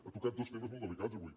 ha tocat dos temes molt delicats avui